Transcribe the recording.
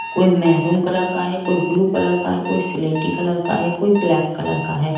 कोई maroon colour का है कोई ब्ल्यू कलर का है कोई सेल्टिक कलर का है कोई ब्लैक कलर का है।